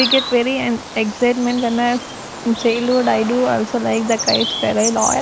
we get very and excitement when as childhood i do also like the kites .